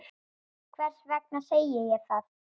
Hvers vegna segi ég það?